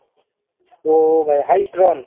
ଓଃ ଭାଇ highest run